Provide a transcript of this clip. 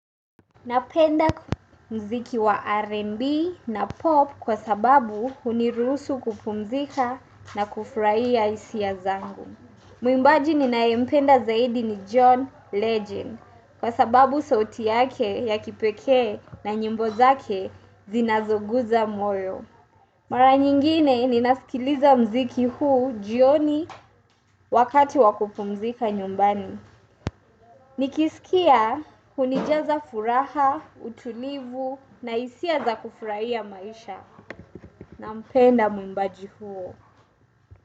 Napenda mziki wa R&B na pop kwa sababu uniruhusu kupumzika na kufurahia hisia zangu. Muimbaji ninaye mpenda zaidi ni John Legend kwa sababu sauti yake ya kipekee na nyimbo zake zinazoguza moyo. Mara nyingine nina sikiliza mziki huu jioni wakati wa kupumzika nyumbani. Nikisikia unijaza furaha, utulivu na hisia za kufurahia maisha nampenda mwimbaji huo.